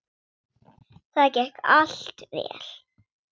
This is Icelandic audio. Það gekk allt vel.